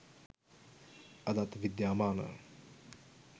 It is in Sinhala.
අදත් විද්‍යාමාන